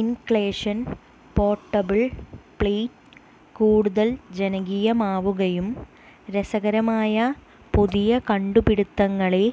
ഇൻക്ലേഷൻ portable plate കൂടുതൽ ജനകീയമാവുകയും രസകരമായ പുതിയ കണ്ടുപിടിത്തങ്ങളെ